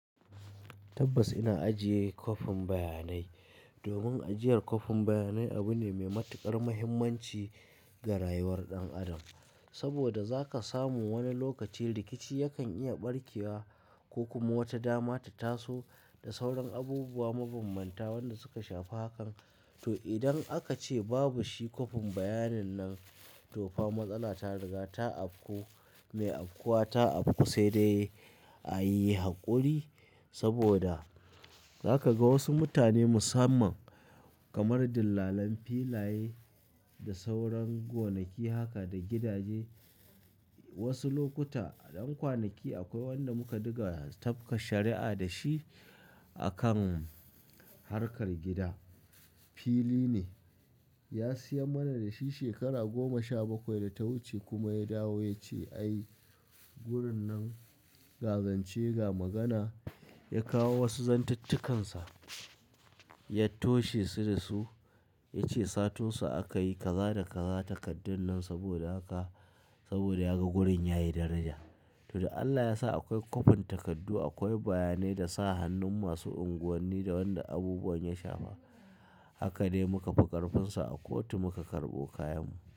Tabbas ina ajiye kwafin bayanai domin ajiyar kwafin bayanai abu ne mai matuƙar muhimmanci ga rayuwar ɗan adam. Saboda za ka samu wani lokaci rikici yakan iya ɓarkewa ko kuma wata dama ta taso da sauran abubuwa mabambanta wanda suka shafi hakan. To idan aka ce babu shi kwafin bayanin nan to fa matsala ta riga ta afku, mai afkuwa ta afku sai dai a yi hakuri saboda za ka ga wasu mutane musamman kamar dillalan filaye da sauran gonaki haka da gidaje. Wasu lokuta ɗan kwanaki akwai wanda muka ɗiga tafka shari'a da shi akan harkar gida. Fili ne, ya siyar mana da shi shekara goma sha bakwai da ta wuce kuma ya dawo ya ce "ai gurin nan gazance ga magana", ya kawo wasu zantattukansa, ya toshe su da su, ya ce satunsa aka yi kaza da kaza takaddar nan saboda haka saboda ya ga gurin yayi daraja. To da Allah ya sa akwai kwafin takardu, akwai bayanai da sa hannun masu unguwanni da wanda abubuwan ya shafa. Haka ne muka fi ƙarfinsa a kotu muka karɓo kayan mu.